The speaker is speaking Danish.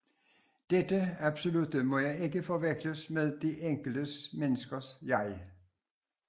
Dette absolutte jeg må ikke forveksles med det enkelte menneskes jeg